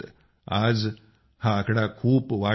आज हा आकडा खूप वाढला आहे